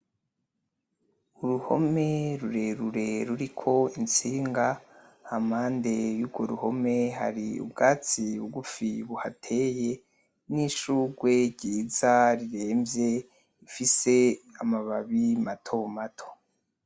Uruhome rurerure ruriko intsinga, hampande yurwo ruhome hari ubwatsi bwiza buhateye hamwe nishurwe ryiza riremvye rifise amababi mato mato